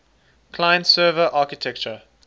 client server architecture